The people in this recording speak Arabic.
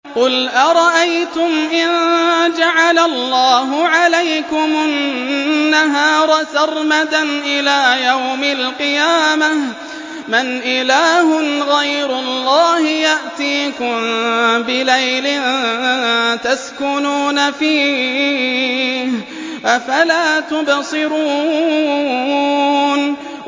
قُلْ أَرَأَيْتُمْ إِن جَعَلَ اللَّهُ عَلَيْكُمُ النَّهَارَ سَرْمَدًا إِلَىٰ يَوْمِ الْقِيَامَةِ مَنْ إِلَٰهٌ غَيْرُ اللَّهِ يَأْتِيكُم بِلَيْلٍ تَسْكُنُونَ فِيهِ ۖ أَفَلَا تُبْصِرُونَ